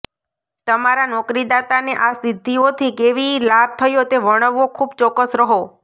તમારા નોકરીદાતાને આ સિદ્ધિઓથી કેવી લાભ થયો તે વર્ણવો ખૂબ ચોક્કસ રહો